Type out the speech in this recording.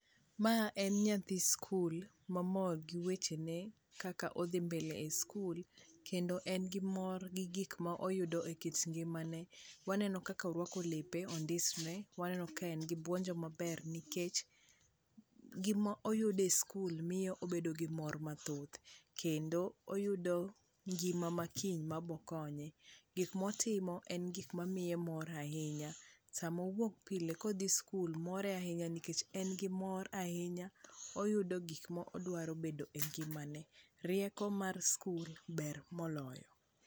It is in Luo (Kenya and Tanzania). Ma en nyathi skul momor gi wechene kaka odhi mbele e skul kendo en gi mor gi gikmoko moyudo e kit ngimane. Waneno kaka orwako lepe, ondisre. Waneno ka en gi buonjo maber nikech gimoyudo e sikul miyo obedo gi mor mathoth kendo oyudo ngima makiny mabokonye . Gik motimo en gik mamiye mor ahinya. Samowuok pile kodhi skul more ahinya nikech en gi mor ahinya oyudo gik modwaro bedo e ngimane. Rieko mar skul ber moloyo.